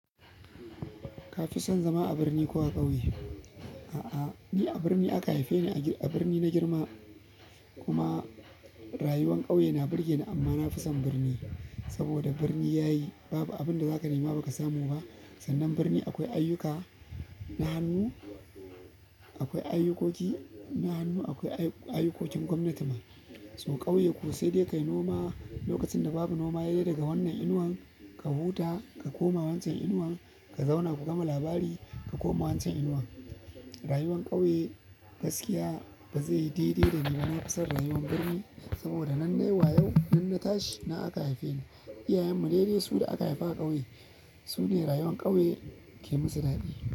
Ka fi son zama a birni ko a ƙauye? A'a, ni a birni aka haife ni a birni na girma kuma rayuwar ƙauye na burge ni amma na fi son birni. Saboda birni yayi babu abin da za ka nema ba ka samu ba. Sannan birni akwai ayyuka, na hannu akwai ayukoki, na hannu akwai ayukokin gwamnati ma. So ƙauye kuwa sai dai ka yi noma lokacin da babu noma yayi dai daga wannan inuwan ka huta, ka koma wancan inuwan ka zauna ka gama labari ka koma wancan inuwan. Rawan ƙauye gaskiya bazaiyi daidai da rayuwar birni sabida nan na tashi nan aka haife ni iyayenmu ne dai su da aka haifa a ƙauye su ne rayuwar ƙauye ke musu daɗi.